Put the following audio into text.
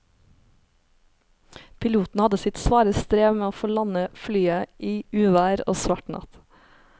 Piloten hadde sitt svare strev med å få landet flyet i uvær og svart natt.